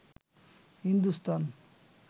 Hindustan